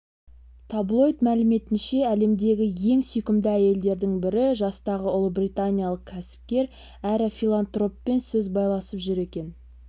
таблоид мәліметінше әлемдегі ең сүйкімді әйелдердің бірі жастағы ұлыбританиялық кәсіпкер әрі филантроппен сөз байласып жүр екен